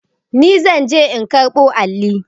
Ni zan je in karɓo alli.